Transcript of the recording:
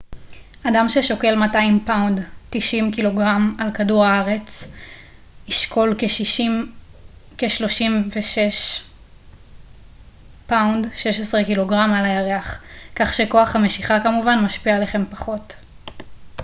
"אדם ששוקל 200 פאונד 90 ק""ג על כדור הארץ ישקול כ-36 פאונד 16 ק""ג על הירח. כך שכוח המשיכה כמובן משפיע עליכם פחות.